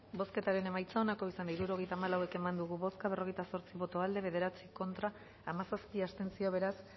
bozketaren emaitza onako izan da hirurogeita hamalau eman dugu bozka berrogeita zortzi boto aldekoa bederatzi contra hamazazpi abstentzio beraz